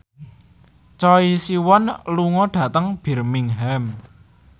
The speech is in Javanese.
Choi Siwon lunga dhateng Birmingham